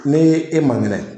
Ne e ma kɛnɛ.